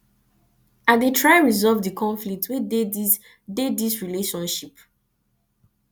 i dey try resolve di conflict wey dey dis dey dis relationship